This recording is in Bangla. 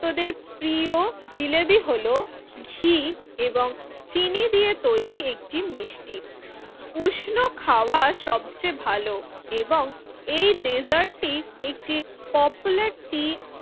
প্রিয় জিলেবী হল ঘি এবং চিনি দিয়ে তৈরি একটি মিষ্টি উষ্ণ খাওয়া সবচেয়ে ভালো এবং এই ডেজার্টটি একটি পপুলার টি